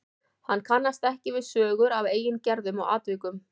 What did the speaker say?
Hann kannast ekki við sögur af eigin gerðum og atvikum.